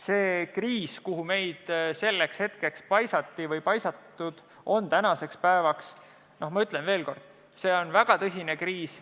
See kriis, kuhu meid paisatud on, ma ütlen veel kord: see on väga tõsine kriis.